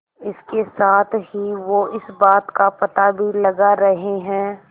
इसके साथ ही वो इस बात का पता भी लगा रहे हैं